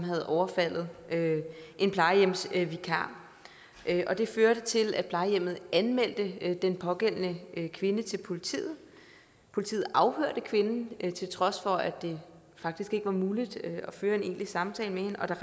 havde overfaldet en plejehjemsvikar og det førte til at plejehjemmet anmeldte den pågældende kvinde til politiet politiet afhørte kvinden til trods for at det faktisk ikke var muligt at føre en egentlig samtale med hende og der